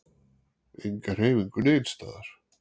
Enga hreyfingu neins staðar.